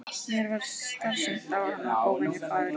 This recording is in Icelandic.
Mér varð starsýnt á hana, óvenju fagureyga.